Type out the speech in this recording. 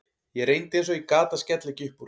Ég reyndi eins og ég gat að skella ekki upp úr.